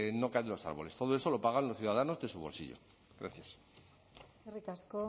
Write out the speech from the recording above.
no cae de los árboles todo eso lo pagan los ciudadanos de su bolsillo gracias eskerrik asko